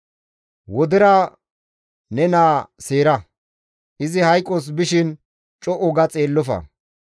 Wodera ne naa seera; izi hayqos bishin co7u ga xeellofa.